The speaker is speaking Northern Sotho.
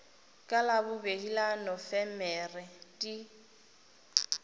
ka labobedi la nofemere di